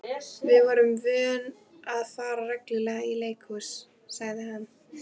Við vorum vön að fara reglulega í leikhús, sagði hann.